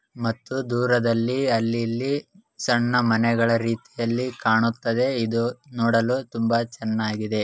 ಮತ್ತೆ ದೂರದಲ್ಲಿ ಅಲ್ಲಿ ಇಲ್ಲಿ ಸಣ್ಣ ಮನೆಗಳ ರೀತಿಯಲ್ಲಿ ಕಾಣುತ್ತದೆ ಇದು ನೋಡಲು ತುಂಬಾ ಚೆನ್ನಾಗಿದೆ.